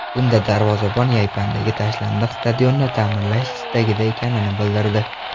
Bunda darvozabon Yaypandagi tashlandiq stadionni ta’mirlash istagida ekanini bildirdi.